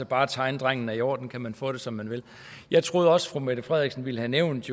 bare tegnedrengen er i orden ka man få det som man vil jeg troede også fru mette frederiksen ville have nævnt